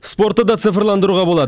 спортты да цифрландыруға болады